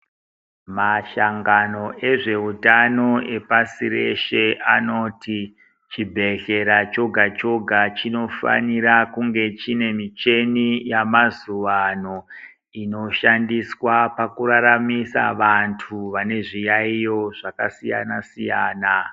Mashangoa ezveutano epashi reshe anoti chibhehlera chega-chega chinofanira kunge chine michina yemazuwa ano inoshandiswa pakuraramisa vantu vane zviyaiyo zvakasiyana-siyana.